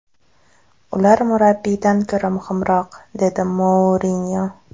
Ular murabbiydan ko‘ra muhimroq”, – dedi Mourinyo.